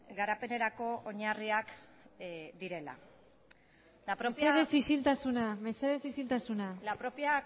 garapenerako oinarriak direla la propia mesedez isiltasuna la propia